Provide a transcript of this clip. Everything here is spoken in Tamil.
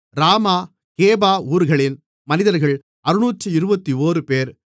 ராமா கேபா ஊர்களின் மனிதர்கள் 621 பேர்